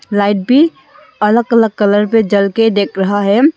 Light भी अलग अलग कलर पे जल के दिक रहा है।